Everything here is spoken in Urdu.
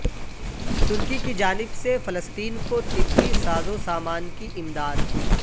ترکی کی جانب سے فلسطین کو طبی سازو سامان کی امداد